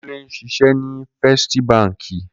Kunle n ṣiṣè ni Fèstí bànkí